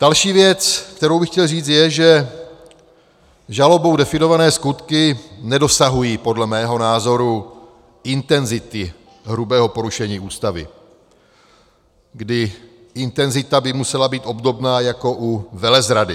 Další věc, kterou bych chtěl říct, je, že žalobou definované skutky nedosahují podle mého názoru intenzity hrubého porušení Ústavy, kdy intenzita by musela být obdobná jako u velezrady.